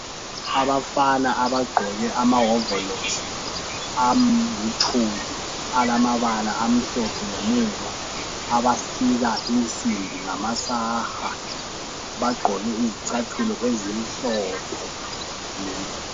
Abafana abagqoke amahovolosi alithuli alamabala amhlophe ngemuva. Abasika insimbi ngamasaka, bagqoke izicathulo ezimhlophe.